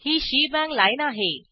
ही shebang line आहे